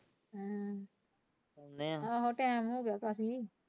ਆਹੋ time ਹੋ ਗਿਆ ਕਾਫ਼ੀ।